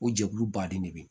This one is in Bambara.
O jɛkulu baden de bɛ yen